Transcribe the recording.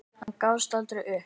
Hann gafst aldrei upp.